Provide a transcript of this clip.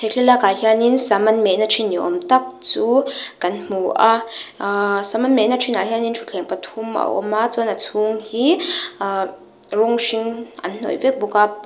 thlalakah hianin sam an mehna thin ni awm tak chu kan hmu a aaa sam an mehna thinah hian thuttthleng pathum a awm a chuan a chhung hi aaa rawng hring an hnawih vek bawk a par --